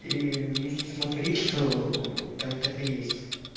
и если смотреть то там так и есть